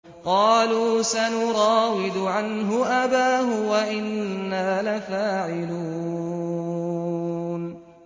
قَالُوا سَنُرَاوِدُ عَنْهُ أَبَاهُ وَإِنَّا لَفَاعِلُونَ